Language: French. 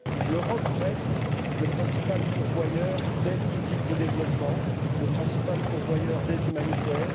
L'Europe reste le principal pourvoyeur d'aides publiques au développement et le principal pourvoyeur d'aide humanitaire.